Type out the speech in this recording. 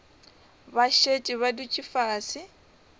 ba šetše ba dutše fase